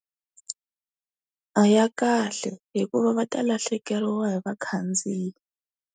A hi ya kahle, hikuva va ta lahlekeriwa hi vakhandziyi.